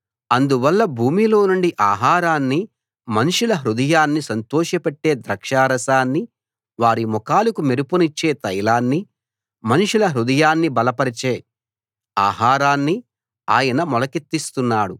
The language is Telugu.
అందువల్ల భూమిలోనుండి ఆహారాన్నీ మనుషుల హృదయాన్ని సంతోషపెట్టే ద్రాక్షారసాన్నీ వారి ముఖాలకు మెరుపునిచ్చే తైలాన్నీ మనుషుల హృదయాన్ని బలపరిచే ఆహారాన్నీ ఆయన మొలకెత్తిస్తున్నాడు